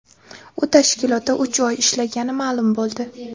U tashkilotda uch oy ishlagani ma’lum bo‘ldi.